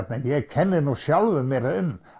ég kenni nú sjálfum mér um